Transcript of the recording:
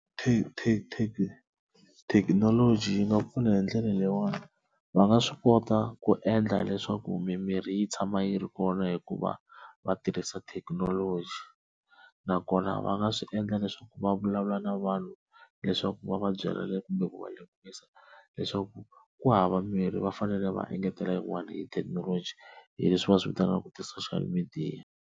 thekinoloji yi nga pfuna hi ndlela leyiwani va nga swi kota ku endla leswaku mimirhi yi tshama yi ri kona hikuva va tirhisa thekinoloji, nakona va nga swi endla leswaku va vulavula na vanhu leswaku va va byela kumbe ku va lemukisa leswaku ku hava mirhi va fanele va engetela yin'wana hi thekinoloji hi leswi va swivitanaka ti-social media.